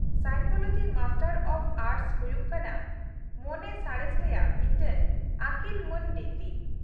-Psychology master of arts ᱦᱩᱭᱩᱜ ᱠᱟᱱᱟ ᱢᱚᱱᱮ ᱥᱟᱬᱮᱥ ᱨᱮᱭᱟᱜ ᱢᱤᱫᱴᱟᱝ ᱟᱹᱠᱤᱞ ᱢᱟᱹᱱ ᱰᱤᱜᱨᱤ ᱾